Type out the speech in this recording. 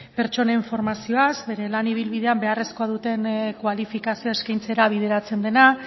pertsonen formazioaz bere lan ibilbidean beharrezkoa duten kualifikazioa eskaintzera bideratzen dena